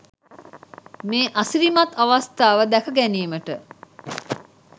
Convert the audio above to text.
මේ අසිරිමත් අවස්ථාව දැක ගැනීමට